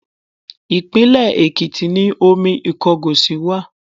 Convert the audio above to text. Ìpínlẹ̀ Èkìtì ni omi Ìkọgòsì wà.